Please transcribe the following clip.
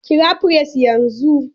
Kira firist yanzu!